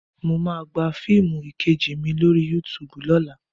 Mà á gba fiimu 'Ìkejì mi' lórí Yúutùbù lọ́la